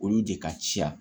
Olu de ka ca